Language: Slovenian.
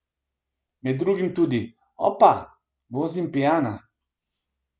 Med drugim tudi: "Opa, vozim pijana.